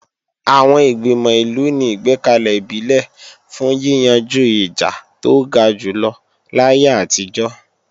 Àwọn Ìgbìmọ̀ ìlú ni ìgbẹ́kalẹ̀ ìbílẹ̀ fún yíyanjú ìjà tó ga jùlọ láyé àtijọ́